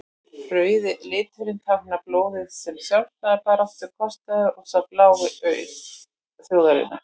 rauði liturinn táknar blóðið sem sjálfstæðisbaráttan kostaði og sá blái auð þjóðarinnar